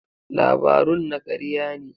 Labarun na karya ne.